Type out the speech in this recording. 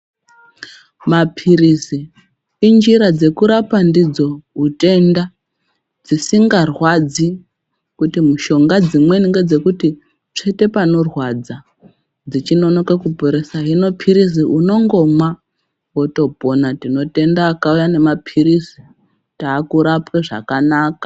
Mapirisi injira dzeku rapa ndidzo hutenda dzisinga rwadzi kuti mushonga dzimweni nge dzekuti tsvete panorwadza dzichi nonoke ku poresa hino pirizi unongomwa woto pona tinotenda vakauya ne mapirisi taku rapwe zvakanaka.